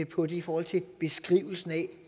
på det i forhold til beskrivelsen af